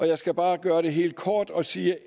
jeg skal bare gøre det helt kort og sige